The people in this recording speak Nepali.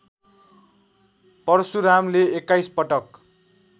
परशुरामले २१ पटक